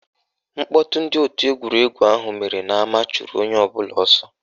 Mkpọtụ ndị òtù egwuregwu ahụ mere n'ama chụrụ onye ọbụla ọsọ